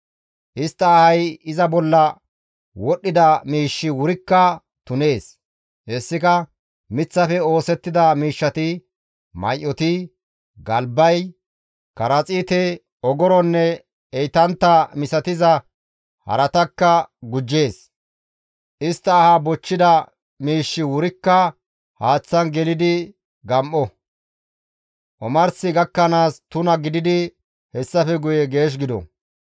Istta ahay iza bolla wodhdhida miishshi wurikka tunees; hessika miththafe oosettida miishshati, may7oti, galba, karaxiite, ogoronne heytantta misatiza haratakka gujjees; istta aha bochchida miishshi wurikka haaththan gelidi gam7o; omars gakkanaas tuna gididi hessafe guye geesh gido.